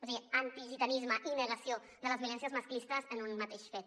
o sigui antigitanisme i negació de les violències masclistes en un mateix fet